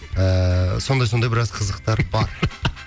ыыы сондай сондай біраз қызықтар бар